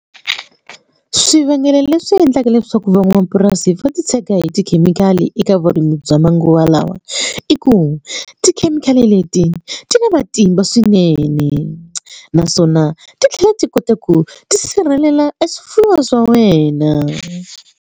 Swivangelo leswi endlaka leswaku van'wamapurasi va titshega hi tikhemikhali eka vurimi bya manguva lawa i ku tikhemikhali leti ti na matimba swinene naswona ti tlhela ti kota ku tisirhelela e swifuwo swa wena.